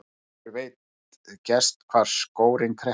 Sjálfur veit gerst hvar skórinn kreppir.